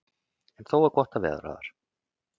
En þó er gott að vera þar.